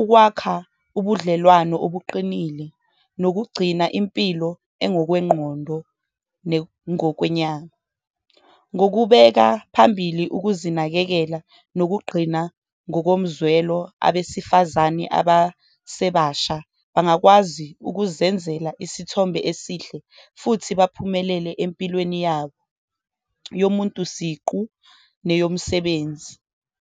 ukwakha ubudlelwano obuqinile nokugcina impilo engokwengqondo nengokwenyama. Ngokubeka phambili ukuzinakekela nokugqina ngokomzwelo, abesifazane abasebasha bangakwazi ukuzenzela isithombe esihle futhi baphumelele empilweni yabo, yomuntu siqu neyomsebenzi.